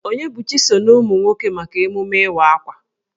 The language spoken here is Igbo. Onyebuchi so na umụ nwoke maka emume Ịwa Akwa.